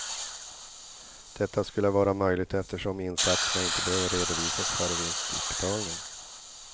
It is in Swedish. Detta skulle vara möjligt eftersom insatserna inte behöver redovisas före vinstutbetalning.